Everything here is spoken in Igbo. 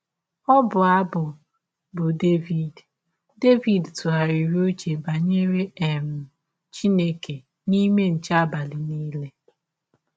Ọbụ abụ bụ́ Devid ‘ Devid ‘ tụgharịrị ụche banyere um Chineke n’ime nche abalị nile. ’